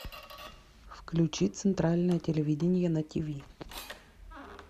включи центральное телевидение на тв